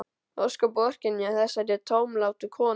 Ósköp vorkenni ég þessari tómlátu konu.